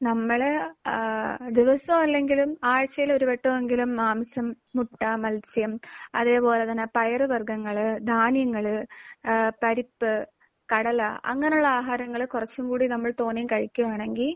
നമ്മൾ ഏഹ് ദിവസവും അല്ലെങ്കിലും ആഴ്ചയിൽ ഒരുവട്ടമെങ്കിലും മാംസം, മുട്ട, മൽസ്യം അതേപോലെ തന്നെ പയർ വർഗ്ഗങ്ങൾ, ധാന്യങ്ങൾ, ഏഹ് പരിപ്പ്, കടല അങ്ങനെയുള്ള ആഹാരങ്ങൾ കുറച്ചും കൂടെ നമ്മൾ തോനെ കഴിക്കുകയാണെങ്കിൽ